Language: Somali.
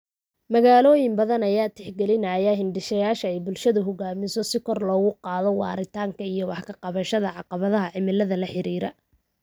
Magaalooyin badan ayaa tixgalinaya hindisayaasha ay bulshadu hogaamiso si kor loogu qaado waaritaanka iyo wax ka qabashada caqabadaha cimilada la xiriira.